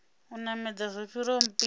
u namedza zwo fhiraho mpimo